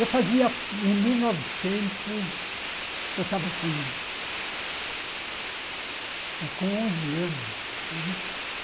Eu fazia, em mil novecentos... Eu estava com eh com onze anos. Onze anos